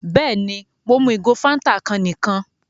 Bẹ́ẹ̀ni, Mo mú igò Fántà kan níkan